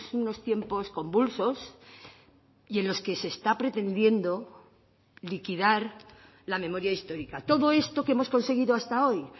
unos tiempos convulsos y en los que se está pretendiendo liquidar la memoria histórica todo esto que hemos conseguido hasta hoy